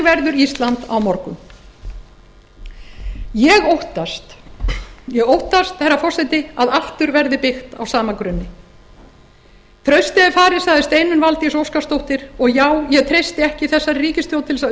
verður ísland á morgun ég óttast herra forseti að aftur verði byggt á sama grunni traustið er farið sagði steinunn valdís óskarsdóttir og já ég treysti ekki þessari ríkisstjórn til að